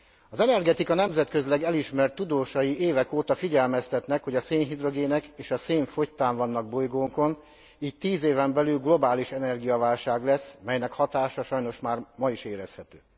Az energetika nemzetközileg elismert tudósai évek óta figyelmeztetnek, hogy a szénhidrogének és a szén fogytán vannak bolygónkon, így tíz éven belül globális energiaválság lesz, melynek hatása sajnos már ma is érezhető.